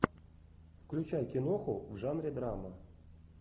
включай киноху в жанре драма